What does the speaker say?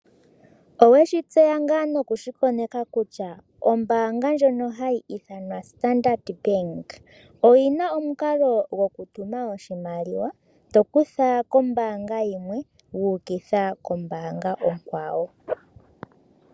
Oweshi tseya ngaa nokushi koneka kutya ombaanga ndjono hayi ithanwa Standard Bank oyina omukalo goku tuma oshimaliwa to kutha kombaanga yimwe wa ukitha kombaanga onkwawo.